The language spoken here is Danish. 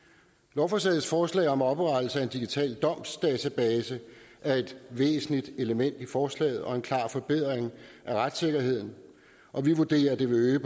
lovforslagets forslag om oprettelse af en digital domsdatabase er et væsentligt element i forslaget og en klar forbedring af retssikkerheden og vi vurderer at det vil øge